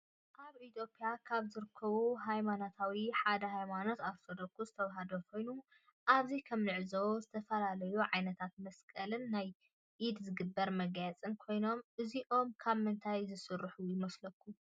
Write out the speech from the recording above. አብ ኢትየጲያ ካብ ዝርከቡ ሃይማኖታት ሓደ ሃይማኖት አርቶዶክስ ተዋህዶ ኮይኑ አብዚ ከም እንዕዞቦ ዝተፈላለዩ ዓይነታት መስቀልን ናይ ኢድ ዝግበር መጋየፅን ኮይኖም እዚኦም ካብ ምንታይ ዝስሩሑ ይመስለኩም?